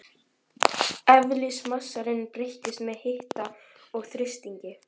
Eðlismassinn breytist með hita og þrýstingi.